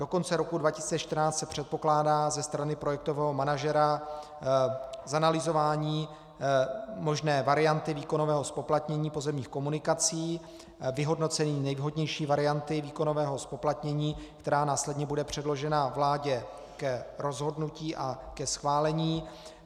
Do konce roku 2014 se předpokládá ze strany projektového manažera zanalyzování možné varianty výkonového zpoplatnění pozemních komunikací, vyhodnocení nejvhodnější varianty výkonového zpoplatnění, která následně bude předložena vládě k rozhodnutí a ke schválení.